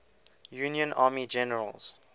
union army generals